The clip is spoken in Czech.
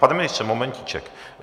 Pane ministře, momentíček.